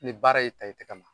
Ni baara ye i ta i tɛgɛ ma